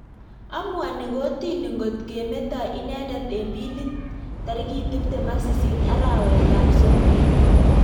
Amuani kortini ngot ke metai inendet eng billit tarikit tiptem AK sisit arawek AP somok.